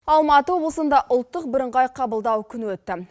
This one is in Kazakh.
алматы облысында ұлттық бірыңғай қабылдау күні өтті